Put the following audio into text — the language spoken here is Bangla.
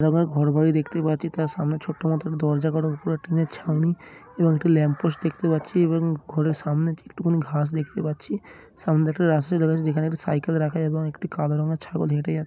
এখানে আমরা ঘর বাড়ি দেখতে পাচ্ছি তার সামনে ছোটো মতোন দরজা এবং তার উপর টিন র ছাউনি এবং একটা দেখতে পাচ্ছি এবং ঘরের সামনে দুটো কোটা ঘাস দেখতে পাচ্ছিসামনে একটা রাস্তা সামনে একটি সাইকেল কাদা রঙের ছাগল দেখতে --